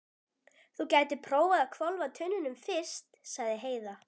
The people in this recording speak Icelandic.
Þú gætir prófað að hvolfa tunnunum fyrst, sagði Heiða.